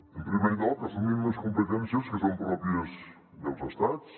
en primer lloc assumim unes competències que són pròpies dels estats